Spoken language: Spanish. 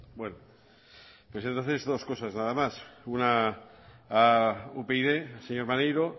pues entonces dos cosas nada más una a upyd señor maneiro